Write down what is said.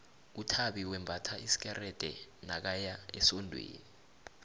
uthabi wembatha isikerde nakaya esondweni